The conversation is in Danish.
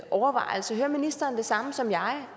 overvejelse hører ministeren det samme som jeg